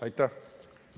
Aitäh!